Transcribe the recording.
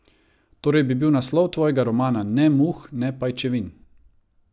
Torej bi bil naslov tvojega romana Ne muh, ne pajčevin.